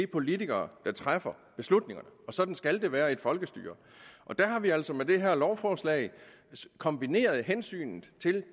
politikere der træffer beslutningerne og sådan skal det være i et folkestyre og der har vi altså med det her lovforslag kombineret hensynet